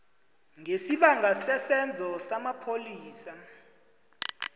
ngesibanga sesenzo samapholisa